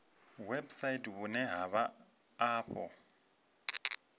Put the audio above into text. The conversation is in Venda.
website vhune ha vha afho